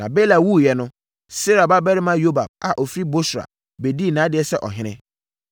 Na Bela wuiɛ no, Serah babarima Yobab a ɔfiri Bosra bɛdii nʼadeɛ sɛ ɔhene.